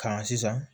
Ka na sisan